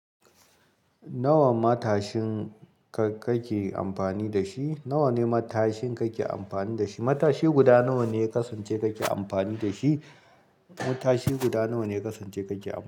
Nawa matashin ka kake amfani da shi? Nawa ne matashin kake amfani da shi? Matashi guda nawane yakasance make amfani dashi.